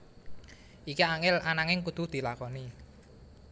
Iki angel ananging kudu dilakoni